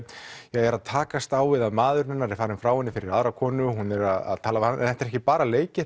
er að takast á við að maðurinn hennar er farinn frá henni fyrir aðra konu og hún er að tala við hann en þetta er ekki bara leikið